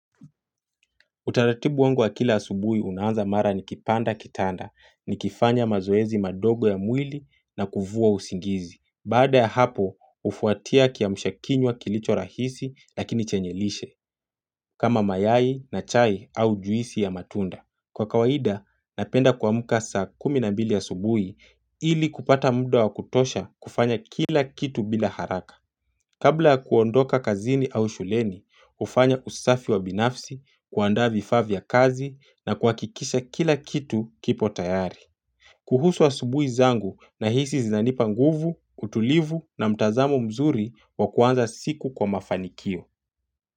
Utaratibu wangu wa kila asubuhi unaanza mara nikipanda kitanda, nikifanya mazoezi madogo ya mwili na kuvua usingizi. Baada ya hapo, hufuatia kiamsha kinywa kilicho rahisi lakini chenye lishe, kama mayai na chai au juisi ya matunda. Kwa kawaida, napenda kuamka saa kumi na mbili asubuhi ili kupata mda wa kutosha kufanya kila kitu bila haraka. Kabla ya kuondoka kazini au shuleni, hufanya usafi wa binafsi, kuanda vifaa vya kazi na kuhakikisha kila kitu kipo tayari. Kuhusu asubuhi zangu na hisi zinanipa nguvu, utulivu na mtazamo mzuri wa kuanza siku kwa mafanikio.